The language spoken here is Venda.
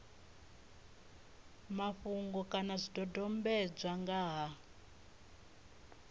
mafhungo kana zwidodombedzwa nga ha